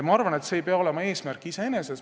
Ma arvan, et see ei pea olema eesmärk iseeneses.